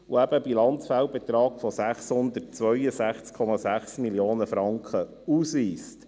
Es wird eben ein Bilanzfehlbetrag von 662,6 Mio. Franken ausgewiesen.